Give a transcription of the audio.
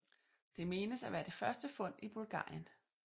Det menes at være det første fund i Bulgarien